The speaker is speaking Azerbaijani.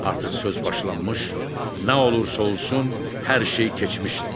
Artıq söz başlanmış, nə olursa olsun, hər şey keçmişdi.